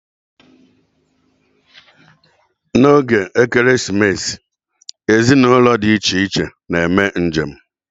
N'oge Ekeresimesi, ezinụlọ di iche iche na-eme njem.